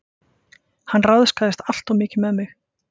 Hann ráðskaðist alltof mikið með mig.